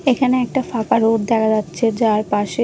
এখানে একটা ফাঁকা রোড দেখা যাচ্ছে যার পাশে--